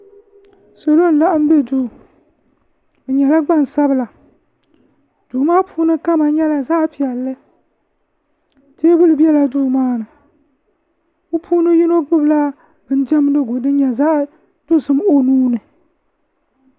Salo n laɣim be duu bɛ nyɛla gbansabila duu maa puuni kama nyɛla zaɣ piɛlli teebuli bela duu maa ni bɛ puuni yino gbubila bin diɛmdiɣu din nyɛ zaɣ dɔzim